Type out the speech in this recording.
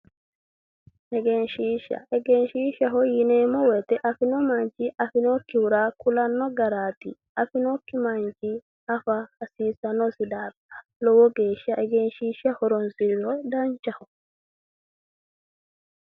Egenshishsha, egenshishshaho yinneemmo woyte afino manni afinokkihura kulano garati, afinokki manchi afa hasiisanosi lowo geeshsha egenshishsha horonsiriro danchaho.